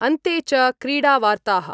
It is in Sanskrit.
अन्ते च क्रीडा वार्ताः